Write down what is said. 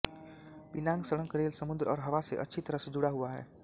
पिनांग सड़क रेल समुद्र और हवा से अच्छी तरह से जुड़ा हुआ है